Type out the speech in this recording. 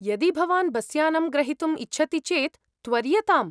यदि भवान् बसयानं ग्रहीतुं इच्छति चेत् त्वर्यताम्।